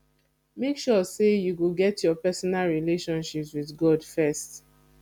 make sure say you get your personal relationship with god first